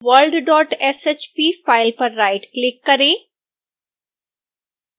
worldshp file पर right click करें